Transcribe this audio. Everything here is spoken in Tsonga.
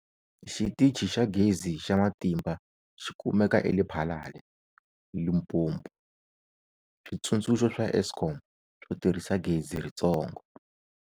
Xitichi xa Gezi xa Matimba xi kumeka eLephalale, Limpopo. Switsundzuxo swa Eskom swo tirhisa gezi ritsongo.